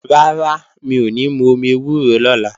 Rárá, mi ò ní mú omi ewúro lọ́la